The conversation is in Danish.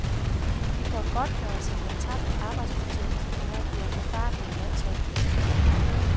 De får godtgørelse for tabt arbejdsfortjeneste, når de er på farten med landsholdet.